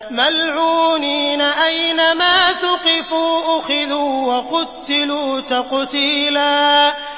مَّلْعُونِينَ ۖ أَيْنَمَا ثُقِفُوا أُخِذُوا وَقُتِّلُوا تَقْتِيلًا